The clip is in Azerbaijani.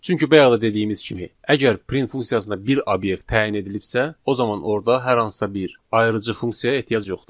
Çünki bayaq da dediyimiz kimi, əgər print funksiyasına bir obyekt təyin edilibsə, o zaman orda hər hansısa bir ayırıcı funksiyaya ehtiyac yoxdur.